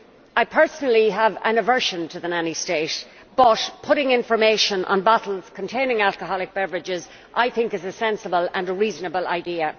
I personally have an aversion to the nanny state, but I think that putting information on bottles containing alcoholic beverages is a sensible and reasonable idea.